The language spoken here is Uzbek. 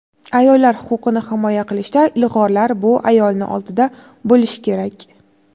Ayollar huquqini himoya qilishda ilg‘orlar bu ayolni oldida bo‘lishi kerak.